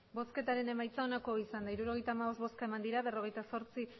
emandako botoak hirurogeita hamabost bai berrogeita zortzi